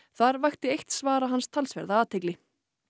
þar vakti eitt svara hans talsverða athygli